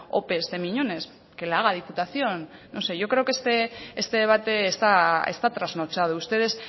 ope de miñones que la haga diputación no sé yo creo que este debate está trasnochado ustedes